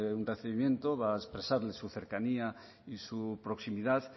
un recibimiento va a expresarle su cercanía y su proximidad